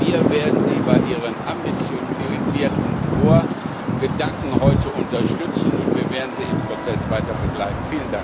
Wir werden Sie bei Ihren ambitionierten Vorgedanken heute unterstützen, und wir werden Sie im Prozess weiter begleiten.